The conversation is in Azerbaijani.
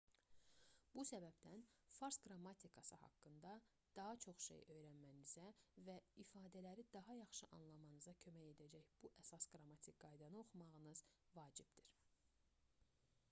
bu səbəbdən fars qrammatikası haqqında daha çox şey öyrənmənizə və ifadələri daha yaxşı anlamanıza kömək edəcək bu əsas qrammatik qaydanı oxumaq vacibdir